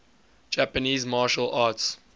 japanese martial arts